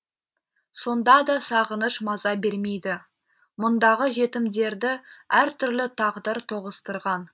сонда да сағыныш маза бермейді мұндағы жетімдерді әр түрлі тағдыр тоғыстырған